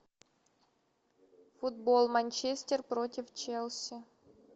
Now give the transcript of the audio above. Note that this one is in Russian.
футбол манчестер против челси